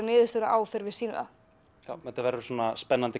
niðurstöðurnar á fyrr en við sýnum það þetta verður svona spennandi